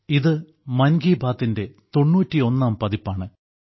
ഇത് മൻ കി ബാത്തിന്റെ 91ാം പതിപ്പാണ്